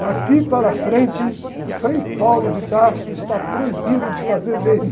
Daqui para frente, o Frei está proibido de fazer vênia.